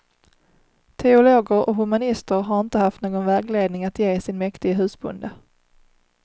Teologer och humanister har inte haft någon vägledning att ge sin mäktige husbonde.